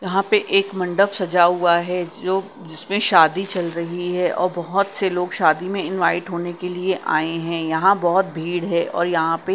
यहां पे एक मंडप सजा हुआ है जो जिसमें शादी चल रही है और बहोत से लोग शादी में इन्वाइट होने के लिए आये है यहां बहोत भीड़ है और यहां पे--